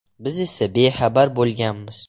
Biz esa bexabar bo‘lganmiz.